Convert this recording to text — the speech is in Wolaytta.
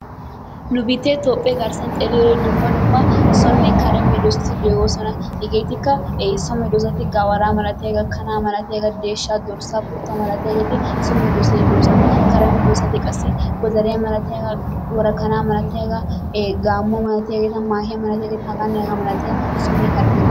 Nu biittee toophphee garssan xeelliyode dumma dumma sone kare meedosatti de'oosona. Hegeetika heessa masatosona gawara malatiyaaga, kanaa malatiyaagaa deshshaa dorssa kuttuwaa malatiyaagetti so meedosata geetetoosona. Kare meedosatti qassi godariya malatiyaagaa worakanaa malatiyaagaa ee gaammo malatiyageta hagaanne hagaa malatiyaageta sonne kare meedosata.